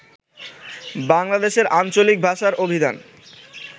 বাংলাদেশের আঞ্চলিক ভাষার অভিধান